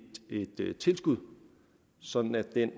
løntilskud sådan at den